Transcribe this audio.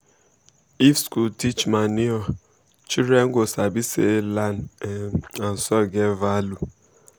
if school teach manure children go sabi say land um and soil get value.